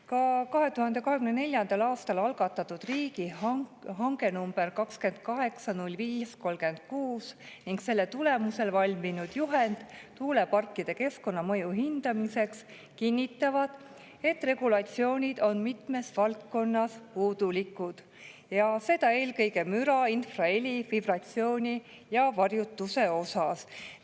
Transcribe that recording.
Ka 2024. aastal algatatud riigihange nr 280536 ning selle tulemusel valminud juhend tuuleparkide keskkonnamõju hindamiseks kinnitavad, et regulatsioonid on mitmes valdkonnas puudulikud, seda eelkõige müra, infraheli, vibratsiooni ja varjutuse osas.